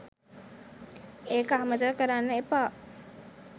ඒක අමතක කරන්න එපා